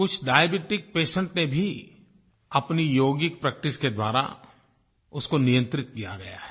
कुछ diabetic patients ने भी अपनी यौगिक प्रैक्टिस के द्वारा उसको नियंत्रित किया है